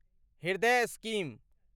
हृदय स्कीम